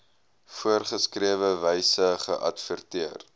voorgeskrewe wyse geadverteer